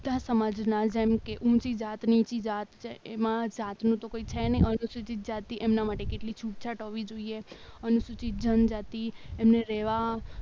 બધા સમાજના જેમકે ઊંચી જાત નીચે જાત એમાં જાતનો તો કોઈ છે ને અનુસૂચિત જાતિ એના માટે કેટલી છૂટછાટ હોવી જોઈએ અનુસૂચિત જનજાતિ એને રહેવા